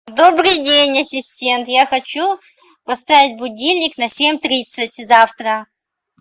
добрый день ассистент я хочу поставить будильник на семь тридцать завтра